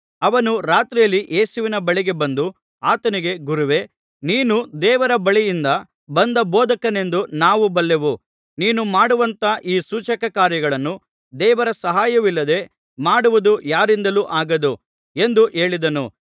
ಅವನು ರಾತ್ರಿಯಲ್ಲಿ ಯೇಸುವಿನ ಬಳಿಗೆ ಬಂದು ಆತನಿಗೆ ಗುರುವೇ ನೀನು ದೇವರ ಬಳಿಯಿಂದ ಬಂದ ಬೋಧಕನೆಂದು ನಾವು ಬಲ್ಲೆವು ನೀನು ಮಾಡುವಂಥ ಈ ಸೂಚಕ ಕಾರ್ಯಗಳನ್ನು ದೇವರ ಸಹಾಯವಿಲ್ಲದೆ ಮಾಡುವುದು ಯಾರಿಂದಲೂ ಆಗದು ಎಂದು ಹೇಳಿದನು